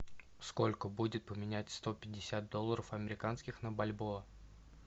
сколько будет поменять сто пятьдесят долларов американских на бальбоа